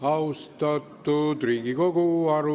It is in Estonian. Austatud Riigikogu!